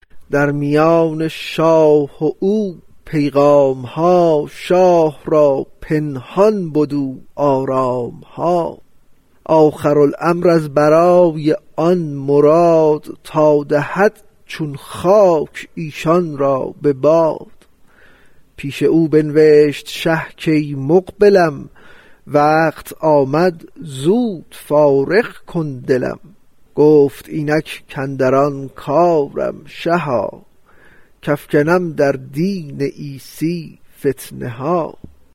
در میان شاه و او پیغام ها شاه را پنهان بدو آرام ها آخر الامر از برای آن مراد تا دهد چون خاک ایشان را به باد پیش او بنوشت شه کای مقبلم وقت آمد زود فارغ کن دلم گفت اینک اندر آن کارم شها کافکنم در دین عیسی فتنه ها